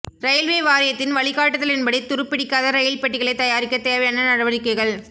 railway வாரியத்தின் வழிக்காட்டுதலின்படி துருப்பிடிக்காத ரெயில் பெட்டிகளைத் தயாரிக்கத் தேவையான நடவடிக்கைகள்